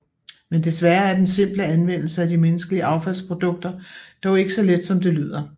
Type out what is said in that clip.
Men desværre er den simple anvendelse af de menneskelige affaldsprodukter dog ikke så let som det lyder